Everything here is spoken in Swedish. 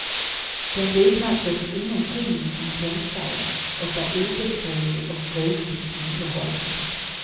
Den liknar förstås ingenting ni kan tänka er och är obeskrivlig och gruvligt underhållande.